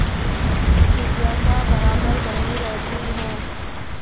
जिज्ञासा बराबर बनी रहती है